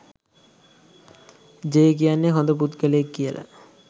J කියන්නේ හොඳ පුද්ගලයෙක් කියලා